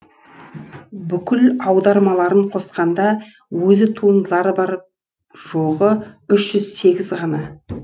бүкіл аудармаларын қосқанда өзі туындылары бар жоғы үш жүз сегіз ғана